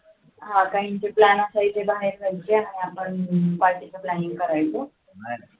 काहींचे plan असायचे बाहेर जायचे आणि आपण party planning करायचं